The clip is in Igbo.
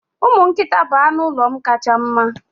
Umu nkita bụ anụ ụlọ m kacha mma.